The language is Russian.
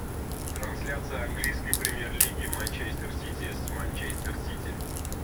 трансляция английской премьер лиги манчестер сити с манчестер сити